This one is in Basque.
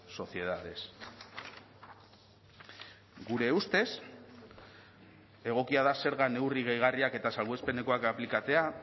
sociedades gure ustez egokia da zerga neurri gehigarriak eta salbuespenekoak aplikatzea